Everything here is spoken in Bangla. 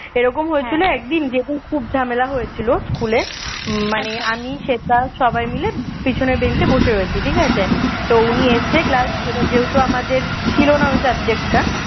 এরকম হয়েছিল একদিন যেদিন খুব ঝামেলা হয়েছিল স্কুলে উম মানে আমি শ্বেতা সবাই মিলে পেছনের বেঞ্চে বসে রয়েছি ঠিক আছে তো উনি এসেছে class এ যেহেতু আমাদের ছিলনা ওই subject টা